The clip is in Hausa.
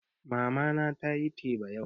Mama na tayi teba yau